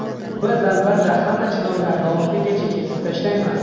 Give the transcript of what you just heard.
Biz albatta hamma chinorlarni oxirigacha kesib tashlaymiz.